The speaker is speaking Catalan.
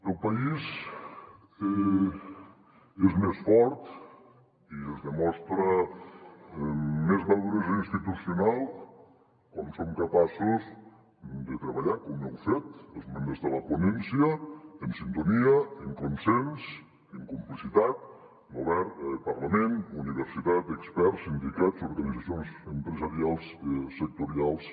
el país és més fort i es demostra més maduresa institucional quan som capaços de treballar com heu fet els membres de la ponència amb sintonia amb consens amb complicitat govern parlament universitat experts sindicats organitzacions empresarials sectorials